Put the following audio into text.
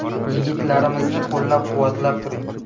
Yigitlarimizni qo‘llab-quvvatlab turing.